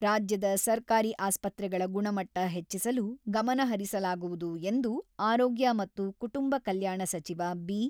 ರಾಜ್ಯದ ಸರ್ಕಾರಿ ಆಸ್ಪತ್ರೆಗಳ ಗುಣಮಟ್ಟ ಹೆಚ್ಚಿಸಲು ಗಮನಹರಿಸಲಾಗುವುದು ಎಂದು ಆರೋಗ್ಯ ಮತ್ತು ಕುಟುಂಬ ಕಲ್ಯಾಣ ಸಚಿವ ಬಿ.